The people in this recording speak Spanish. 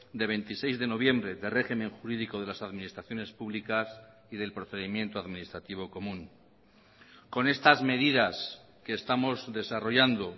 de veintiséis de noviembre de régimen jurídico de las administraciones públicas y del procedimiento administrativo común con estas medidas que estamos desarrollando